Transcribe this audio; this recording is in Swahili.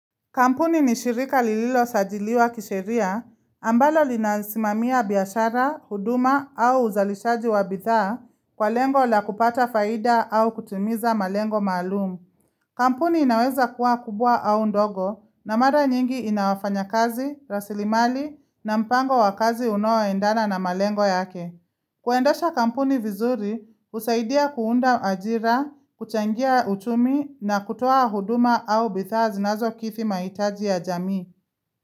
Kampuni nishirika lililo sajiliwa kisheria, ambalo linasimamiya biyashara, huduma au uzalishaji wa bithaa kwa lengo la kupata faida au kutimiza malengo maalumu. Kampuni inaweza kuwa kubwa au ndogo na mara nyingi inawafanya kazi, rasilimali na mpango wa kazi unaoendana na malengo yake. Kuendasha kampuni vizuri, husaidia kuunda ajira, kuchangia utumi na kutoa huduma au bethazi nazo kithi mahitaji ya jamii.